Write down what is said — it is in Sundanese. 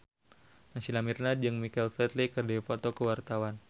Naysila Mirdad jeung Michael Flatley keur dipoto ku wartawan